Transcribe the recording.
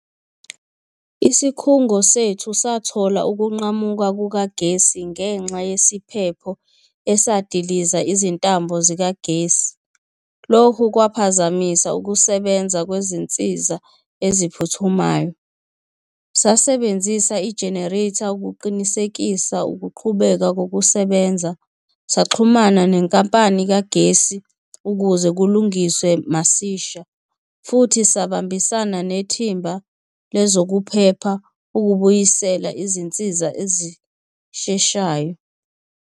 Isikhungo sethu sathola ukunqamuka kukagesi ngenxa yesiphepho esadiliza izintambo zikagesi. Lokhu kwaphazamisa ukusebenza kwezinsiza eziphuthumayo. Sasebenzisa i-generator ukuqinisekisa ukuqhubeka kokusebenza, saxhumana nenkampani kagesi ukuze kulungiswe masisha futhi sabambisana nethimba lezokuphepha ukubuyisela izinsiza ezisheshayo.